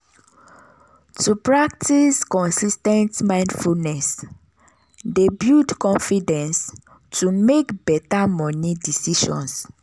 to practice consis ten t mindfulness dey build confidence to make better moni decisions.